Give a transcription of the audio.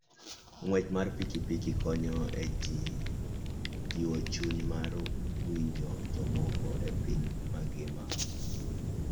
Ng'wech mar pikipiki konyo e jiwo chuny mar winjo jomoko e piny mangima.